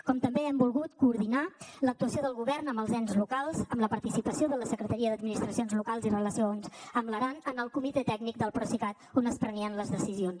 com també hem volgut coordinar l’actuació del govern amb els ens locals amb la participació de la secretaria d’administracions locals i relacions amb l’aran en el comitè tècnic del procicat on es prenien les decisions